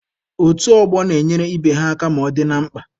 Otu ọgbọ na-enyere ibe ha aka ma ọ dị na mkpa.